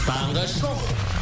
таңғы шоу